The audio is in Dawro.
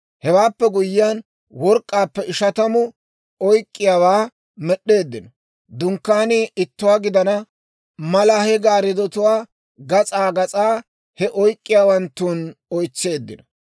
Hewaappe guyyiyaan, work'k'aappe ishatamu oyk'k'iyaawaa med'd'eeddino. Dunkkaanii ittuwaa gidana mala, he gaariddotuwaa gas'aa gas'aa he oyk'k'iyaawanttun oytseeddino.